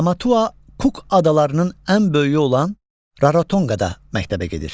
Tamatua Kuk adalarının ən böyüyü olan Raratonqada məktəbə gedir.